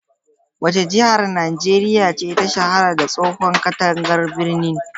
Wace jihar Najeriya ce ta shahara da tsohon katangar birni?